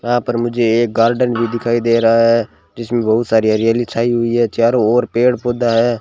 यहां पर मुझे एक गार्डन भी दिखाई दे रहा है जिसमें बहुत सारी हरियाली छाई हुई है चारों ओर पेड़ पौधा है।